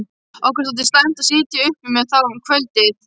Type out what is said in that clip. Okkur þótti slæmt að sitja uppi með þá um kvöldið.